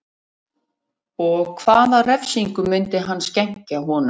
Og hvaða refsingu myndi hann skenkja honum